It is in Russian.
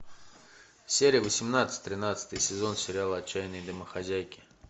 серия восемнадцать тринадцатый сезон сериала отчаянные домохозяйки